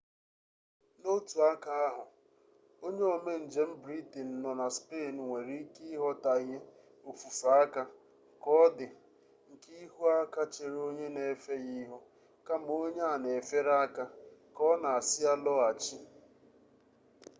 n'otu aka ahụ onye ome njem britenụ nọ na spenụ nwere ike ịghọtaghie ofufe aka ka ọdị nke ihu aka chere onye na-efe ya ihu kama onye a na-efere aka ka ọ na-asị ya lọghachi